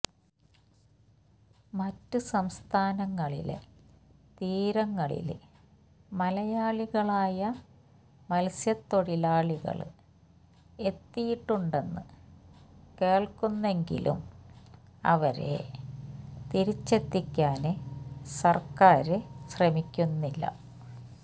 മറ്റ് സംസ്ഥാനങ്ങളിലെ തീരങ്ങളില് മലയാളികളായ മത്സ്യത്തൊഴിലാളികള് എത്തിയിട്ടുണ്ടെന്ന് കേള്ക്കുന്നെങ്കിലും അവരെ തിരിച്ചെത്തിക്കാന് സര്ക്കാര് ശ്രമിക്കുന്നില്ല